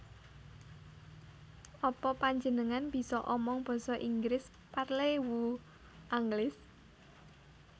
Apa panjenengan bisa omong basa Inggris Parlez vous anglais